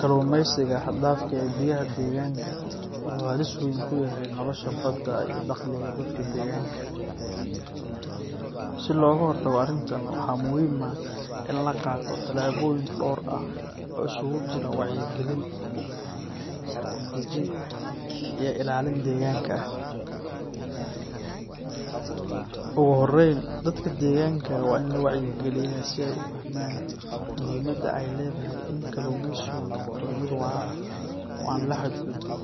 Kalumeysiga haxdafka eh iyo biyaha deganka wuxu halis weyn kuyaxay nolosha badaa iyo daqliga dadka deganka, si logahortago arintan waxa muxiim ah in lagato talaboyin door ah oo iskukujira wacyi galin, sharci dajin iyo ilalin deganka ah, oguhoren dadka deganka wa in lawacyi galiya si ay ufahman muxiimada ay ledaxay in kalumeysiga nogdo mid waraa oo an lahadgudbin ,